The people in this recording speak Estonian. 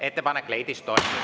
Ettepanek leidis toetust.